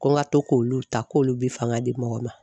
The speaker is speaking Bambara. Ko n ka to k'olu ta k'olu bɛ fanga di mɔgɔ ma.